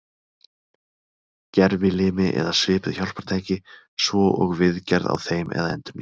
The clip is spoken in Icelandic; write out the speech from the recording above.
Gervilimi eða svipuð hjálpartæki svo og viðgerð á þeim eða endurnýjun.